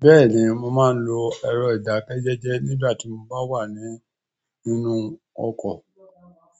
Bẹ́ẹ̀ni mo maa n lo ero ìdákẹ́jẹ́jẹ́ nigbati mo ba wa nínú oko